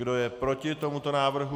Kdo je proti tomuto návrhu?